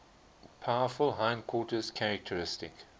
powerful hindquarters characteristic